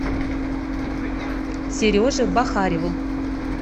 сереже бахареву